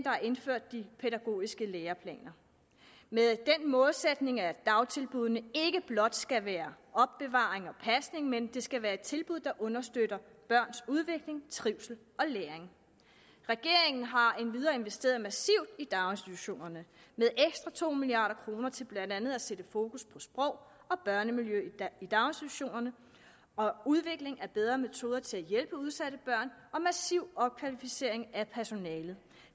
har indført de pædagogiske læreplaner med den målsætning at dagtilbuddene ikke blot skal være opbevaring og pasning men at de skal være et tilbud der understøtter børns udvikling trivsel og læring regeringen har endvidere investeret massivt i daginstitutionerne med ekstra to milliard kroner til blandt andet at sætte fokus på sprog og børnemiljø i daginstitutionerne og udvikling af bedre metoder til at hjælpe udsatte børn og til massiv opkvalificering af personalet